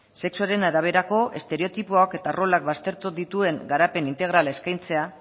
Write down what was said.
sexuaren araberako estereotipoak eta rolak baztertu dituen garapen integrala eskaintzea